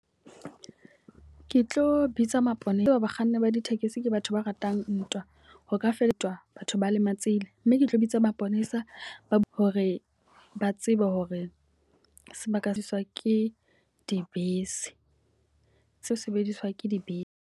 Ke tlo bitsa maponesa, ba bakganni ba ditekesi ke batho ba ratang ntwa. Ho ka fetwa batho ba lematsehileng. Mme ke tlo bitsa maponesa hore ba tsebe hore sebaka iswa ke dibese, tse sebediswang ke dibese.